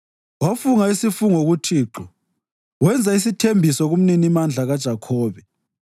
Wafunga isifungo kuThixo wenza isithembiso kuMninimandla kaJakhobe: